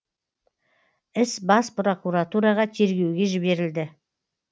іс бас прокуратураға тергеуге жіберілді